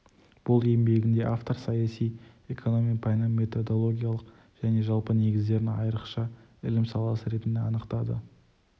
бұл еңбегінде автор саяси экономияның пәнін методологиялық және жалпы негіздерін айрықша ілім саласы ретінде анықтады